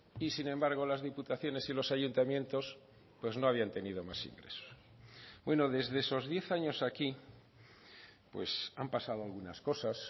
y sin embargo las diputaciones y los ayuntamientos pues no habían tenido más ingresos bueno desde esos diez años aquí pues han pasado algunas cosas